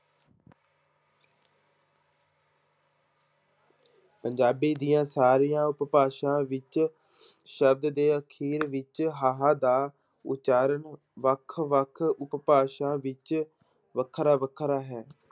ਪੰਜਾਬੀ ਦੀਆਂ ਸਾਰੀਆਂ ਉਪਭਾਸ਼ਾ ਵਿੱਚ ਸ਼ਬਦ ਦੇ ਅਖ਼ੀਰ ਵਿੱਚ ਹਾਹਾ ਦਾ ਉਚਾਰਨ ਵੱਖ ਵੱਖ ਉਪਭਾਸ਼ਾ ਵਿੱਚ ਵੱਖਰਾ ਵੱਖਰਾ ਹੈ।